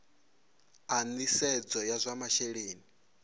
a nisedzo ya zwa masheleni